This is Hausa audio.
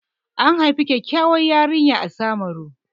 An haifi kyakkyawar yarinya a Samaru.